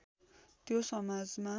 त्यो समाजमा